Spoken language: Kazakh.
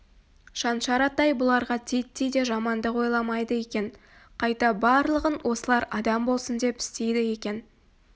шаншар атай бұларға титтей де жамандық ойламайды екен қайта барлығын осылар адам болсын деп істейді екен